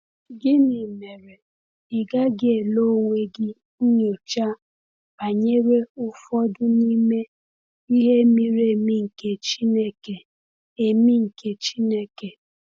Gịnị mere ị gaghị ele onwe gị nyocha banyere ụfọdụ n’ime “ihe miri emi nke Chineke”? emi nke Chineke”?